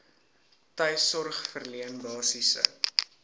tuissorg verleen basiese